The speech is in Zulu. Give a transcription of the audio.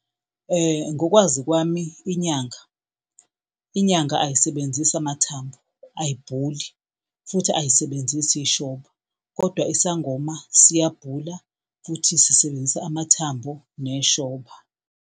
Ngokwazi kwami inyanga, inyanga ayisebenzisi amathambo ayibhuli futhi ayisebenzisi ishoba kodwa isangoma siyabhula, futhi sisebenzisa amathambo neshoba.